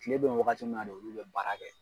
Kile bɛ ye wagati min na de olu bɛ baara kɛ.